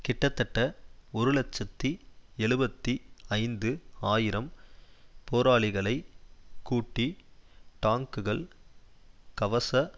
கிட்டத்தட்ட ஒரு இலட்சத்தி எழுபத்தி ஐந்து ஆயிரம் போராளிகளை கூட்டி டாங்குகள் கவச